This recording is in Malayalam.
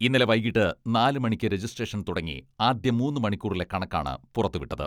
ഇന്നലെ വൈകീട്ട് നാല് മണിക്ക് രജിസ്ട്രേഷൻ തുടങ്ങി ആദ്യ മൂന്ന് മണിക്കൂറിലെ കണക്കാണ് പുറത്തുവിട്ടത്.